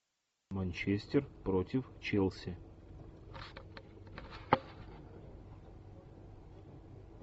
манчестер против челси